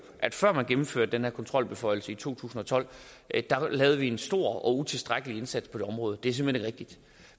at før man gennemførte den her kontrolbeføjelse i to tusind og tolv lavede vi en stor og utilstrækkelig indsats på området og det er simpelt hen